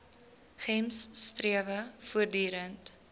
gems strewe voortdurend